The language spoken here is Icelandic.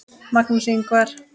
Magnús Ingvar.